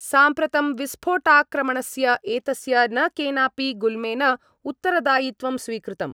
साम्प्रतं विस्फोटाक्रमणस्य एतस्य न केनापि गुल्मेन उत्तरदायित्वं स्वीकृतम्।